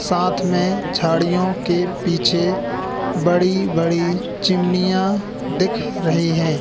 साथ में झाड़ियां के पीछे बड़ी बड़ी चिमनियां दिख रही हैं।